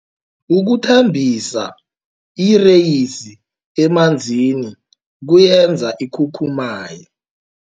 Ukuthambisa ireyisi emanzini kuyenza ikhukhumaye.